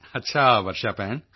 ਅੱਛਾ ਵਰਸ਼ਾ ਭੈਣ